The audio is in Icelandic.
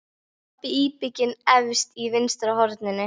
Pabbi íbygginn efst í vinstra horninu.